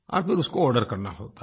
और फिर उसको आर्डर करना होता है